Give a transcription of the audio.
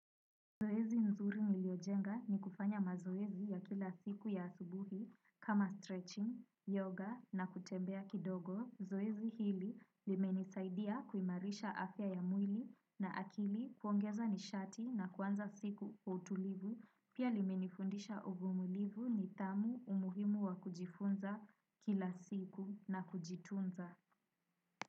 Zoezi nzuri niliojenga ni kufanya mazoezi ya kila siku ya asubuhi kama stretching, yoga na kutembea kidogo. Zoezi hili limenisaidia kuimarisha afya ya mwili na akili kuongeza nishati na kuanza siku kwa utulivu. Pia limenifundisha uvumulivu nidhamu umuhimu wa kujifunza kila siku na kujitunza.